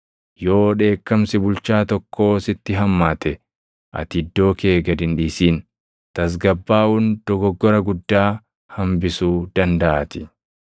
Yoo dheekkamsi bulchaa tokkoo sitti hammaate, ati iddoo kee gad hin dhiisin; tasgabbaaʼuun dogoggora guddaa hambisuu dandaʼaatii.